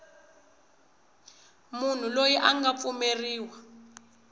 munhu loyi a nga pfumeleriwa